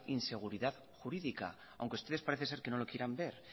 inseguridad jurídica aunque ustedes parece ser que no lo quieran ver